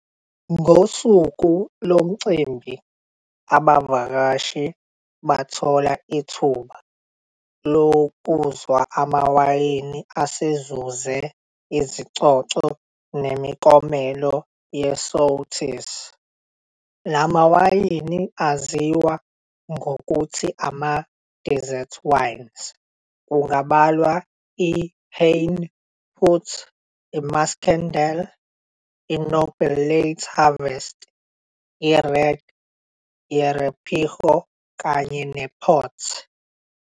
Ngosuku lomcimbi abavakashi bathola ithuba lokuzwa amawayini asezuze izicoco nemiklomelo yeSoetes, lamawayini aziwa ngokuthi ama-desserts wines, kungabalwa iHanepoot, iMuscadel, iNoble Late Harvest, iRed Jerepigo kanye nePort.